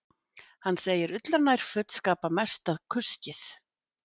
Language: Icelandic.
Hann segir ullarnærföt skapa mesta kuskið